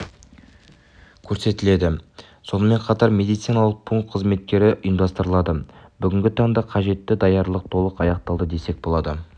көрсетіледі сонымен қатар медициналық пункт қызметтері ұйымдастырылады бүгінгі таңда қажетті даярлық толық аяқталды десек болады